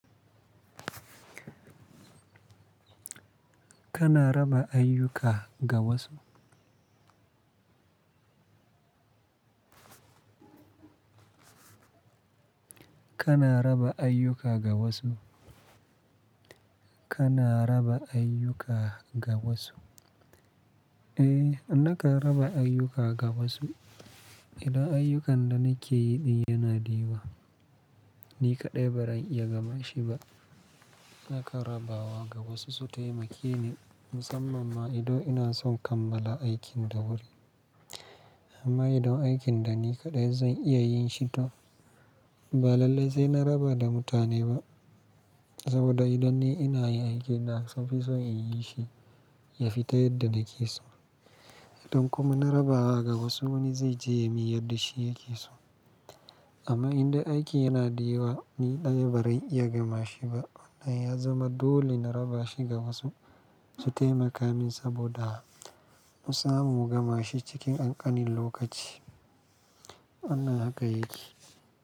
Kana raba ayyuka ga wasu? Kana raba ayyuka ga wasu? Kana raba ayyuka ga wasu? Eh, nakan raba ayyuka ga wasu. Idan ayyukan da nake yi din yana da yawa, ni kaɗai ba zan iya gamashi ba. Nakan raba wa ga wasu su taimake ni musamman ma idan ina son kammala aikin da wuri. Amma idan aikin da ni kaɗai zan iya yin shi to ba lallai sai na raba da mutane ba. Saboda idan ni ina yin aikin da inason in yi shi yafi ta yadda nake so. Idan kuma na raba ga wasu wani zai je ya yi min yadda shi yake so. Amma inda aiki yana da yawa ni ɗaya ba zan iya gamashi ba nan ya zama dole na raba shi ga wasu su taimaka min saboda mu samu mu gamashi cikin ƙanƙanin lokaci. Wannan haka yake.